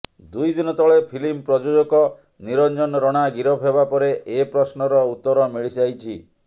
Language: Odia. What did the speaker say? ଦୁଇଦିନ ତଳେ ଫିଲ୍ମ ପ୍ରଯୋଜକ ନିରଂଜନ ରଣା ଗିରଫ ହେବା ପରେ ଏ ପ୍ରଶ୍ନର ଉତର ମିଳିଯାଇଛି